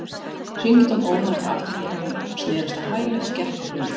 hringitónn ómaði fyrir aftan hana og hún snerist á hæli og gekk á hljóðið.